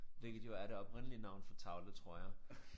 Hvilket jo er det oprindelige navn for tavle tror jeg